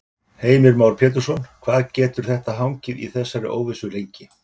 Heimir Már Pétursson: Hvað getur þetta hangið í þessari óvissu lengi?